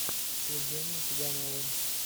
с евгением цыгановым